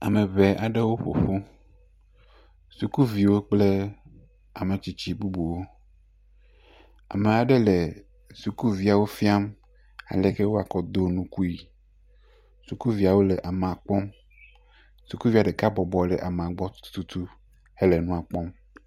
Ame ŋɛ aɖewo ƒo ƒu ,sukuviwo kple ame tsitsi bubuwo. Ame aɖe le sukuviawo fia aieke wɔakɔ ado nukui. Sukuvia ɖeka bɔbɔnɔ le amea gbɔ tututu tutu hele nua kpɔm.